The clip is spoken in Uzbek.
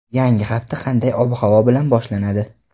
Yangi hafta qanday ob-havo bilan boshlanadi?.